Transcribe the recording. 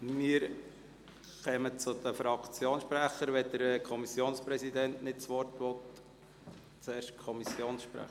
Wir kommen zu den Fraktionssprechern, es sei denn, der Kommissionspräsident wünsche vorher das Wort.